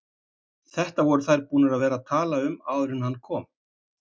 Þetta voru þær búnar að vera að tala um áður en hann kom!